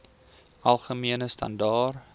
algemene standaar